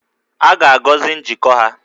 A ga-agọzi njikọ ha